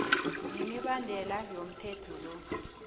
nemibandela yomthetho lo